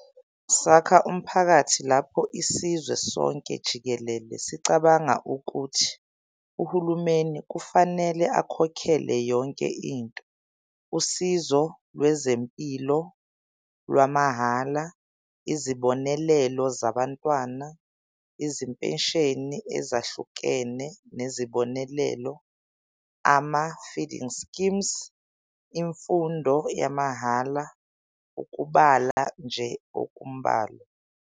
Sakha umphakathi lapho isizwe sonke jikelele sicabanga ukuthi uhulumeni kufanele akhokhele yonke into - usizo lwezempilo lwamahhala, izibonelelo zabantwana, izimpesheni ezahlukene nezibonelelo, ama-feeding schemes, imfundo yamahhala, ukubala nje okumbalwa.